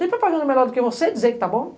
Tem propaganda melhor do que você dizer que está bom?